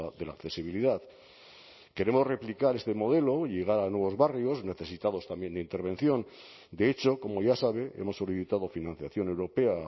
de la accesibilidad queremos replicar este modelo y llegar a nuevos barrios necesitados también de intervención de hecho como ya sabe hemos solicitado financiación europea a